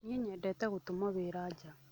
Niĩ nyendete gũtũmwo wĩra wa nja.